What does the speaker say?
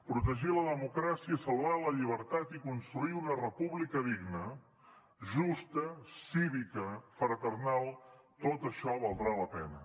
protegir la democràcia salvar la llibertat i construir una república digna justa cívica fraternal tot això valdrà la pena